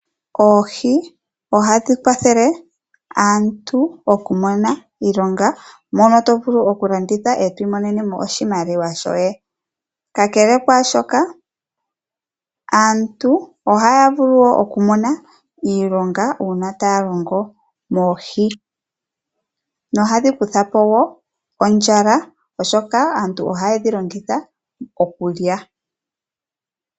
Oohi ohadhi kwathele aantu okumona iilonga. Oto vulu okudhi landitha e to mono oshimaliwa shoye. Kakele kaashoka aantu ohaya vulu wo okumona iilonga uuna taya longo moohi nohadhi kutha po wo ondjala oshoka aantu ohaye dhi longitha okulya.